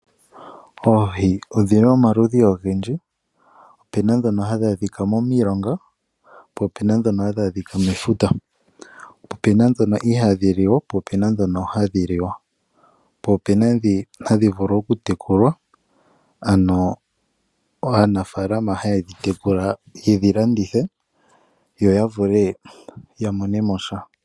Oohi odhili omaludhi ogendji. Opena ndhono hadhi a dhika momilonga po opena ndho hadhi adhika mefuta. Po opena ndhono ihaadhi liwa po opena dhono hadhi liwa. Po opena ndhi hadhi vulu okutekulwa ano aanafaalama haye dhi tekula yedhi landithe yo yavule ya monemo sha.